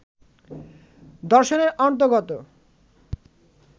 দর্শনের অন্তর্গত